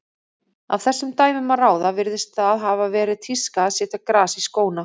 Af þessum dæmum að ráða virðist það hafa verið tíska að setja gras í skóna.